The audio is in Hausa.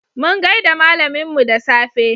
Mun gaida malaminmu da safe.